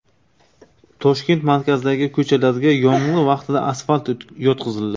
Toshkent markazidagi ko‘chalarga yomg‘ir vaqtida asfalt yotqizildi.